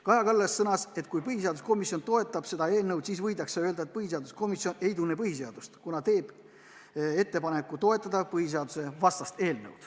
Kaja Kallas sõnas, et kui põhiseaduskomisjon toetab seda eelnõu, siis võidakse öelda, et põhiseaduskomisjon ei tunne põhiseadust, kuna teeb ettepaneku toetada põhiseadusevastast eelnõu.